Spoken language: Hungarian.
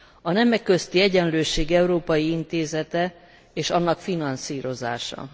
A Nemek Közötti Egyenlőség Európai Intézete és annak finanszírozása.